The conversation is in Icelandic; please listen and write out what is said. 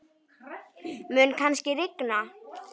Mun kannski rigna?